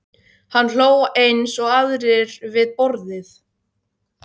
Hann hló eins og aðrir við borðið.